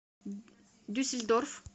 дюссельдорф